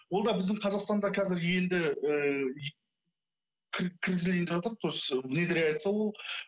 ол да біздің қазақстанда қазір енді ііі кіргізілейін деватыр то есть внедряется ол